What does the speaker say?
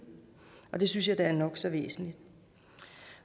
og det synes jeg da er nok så væsentligt